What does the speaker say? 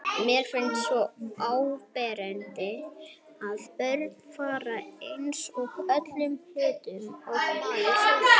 Mér finnst svo áberandi að börnin fara eins að öllum hlutum og maður sjálfur.